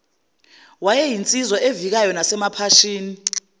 wayeyinsizwa evikayo nasemaphashini